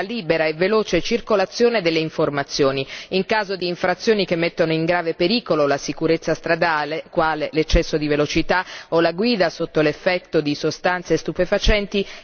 In caso di infrazioni che mettono in grave pericolo la sicurezza stradale, quale l'eccesso di velocità o la guida sotto l'effetto di sostanze stupefacenti, gli autori devono essere assolutamente rintracciati.